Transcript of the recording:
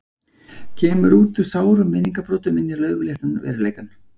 Kemur út úr sárum minningabrotum inn í laufléttan veruleikann.